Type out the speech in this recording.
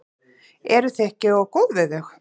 Eruð þið ekki of góð við þau?